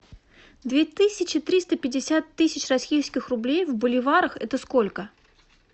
две тысячи триста пятьдесят тысяч российских рублей в боливарах это сколько